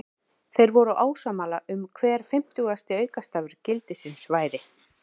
Þeir voru ósammála um hver fimmtugasti aukastafur gildisins væri.